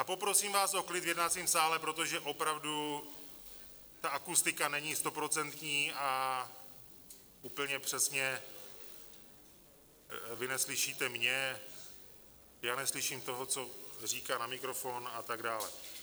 A poprosím vás o klid v jednacím sále, protože opravdu ta akustika není stoprocentní a úplně přesně vy neslyšíte mě, já neslyším toho, co říká na mikrofon, a tak dále.